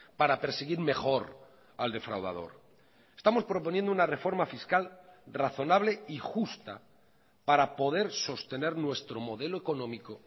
para perseguir mejor al defraudador estamos proponiendo una reforma fiscal razonable y justa para poder sostener nuestro modelo económico